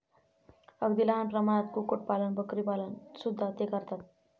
अगदी लहान प्रमाणात कुक्कुट पालन, बकरीपालन सुद्धा ते करतात.